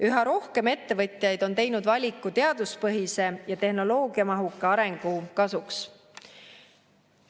Üha rohkem ettevõtjaid on teinud valiku teaduspõhise ja tehnoloogiamahuka arengu kasuks.